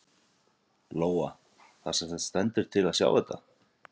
Lóa: Það semsagt stendur til að sá í þetta?